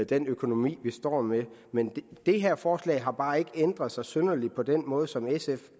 den økonomi vi står med men det her forslag har bare ikke ændret sig synderligt på den måde som